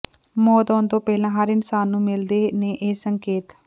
ਮੌਤ ਆਉਣ ਤੋਂ ਪਹਿਲਾਂ ਹਰ ਇਨਸਾਨ ਨੂੰ ਮਿਲਦੇ ਨੇ ਇਹ ਸੰਕੇਤ